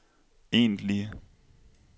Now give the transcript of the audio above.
egentlige